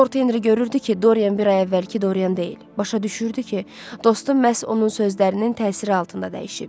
Lord Henri görürdü ki, Dorian bir ay əvvəlki Dorian deyil, başa düşürdü ki, dostu məhz onun sözlərinin təsiri altında dəyişib.